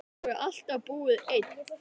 Hefurðu alltaf búið einn?